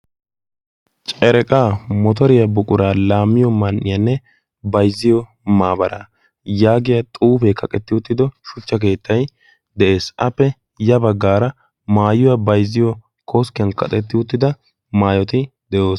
Cereqqaa motoriya buqura laammiyo man''iyanne bayzziyo maabara yaaggiyaa xuufe kaqqetti uttido shuchcha keettay de'ees. appe ya baggara maayuwa bayzziyo koskkiyaan kaqqeti uttida maayyoti de'oosona.